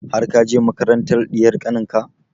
Har ka je makarantar ɗiyar kanin ka?